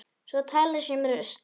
Svo talað sé um rusl.